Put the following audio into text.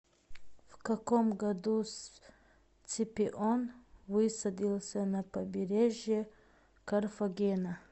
в каком году сципион высадился на побережье карфагена